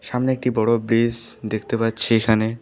সামনে একটি বড় ব্রিস দেখতে পাচ্ছি এখানে।